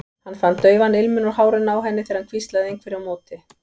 Hann fann daufan ilminn úr hárinu á henni þegar hann hvíslaði einhverju á móti.